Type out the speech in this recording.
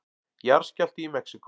Jarðskjálfti í Mexíkó